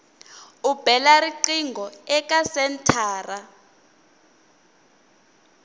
u bela riqingho eka senthara